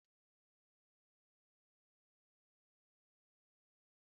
Ọ na-amasị Ngozi isi ogiri na ofe nne ya.